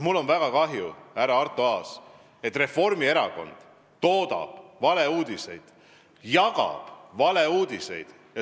Mul on väga kahju, härra Arto Aas, et Reformierakond toodab ja jagab valeuudiseid.